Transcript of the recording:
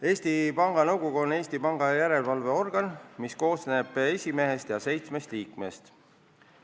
Eesti Panga Nõukogu on Eesti Panga järelevalveorgan, mis koosneb esimehest ja seitsmest liikmest.